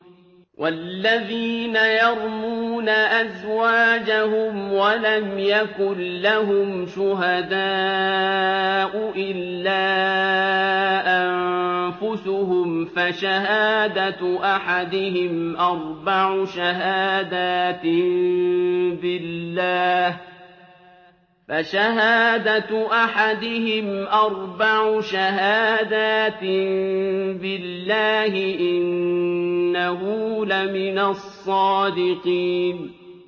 وَالَّذِينَ يَرْمُونَ أَزْوَاجَهُمْ وَلَمْ يَكُن لَّهُمْ شُهَدَاءُ إِلَّا أَنفُسُهُمْ فَشَهَادَةُ أَحَدِهِمْ أَرْبَعُ شَهَادَاتٍ بِاللَّهِ ۙ إِنَّهُ لَمِنَ الصَّادِقِينَ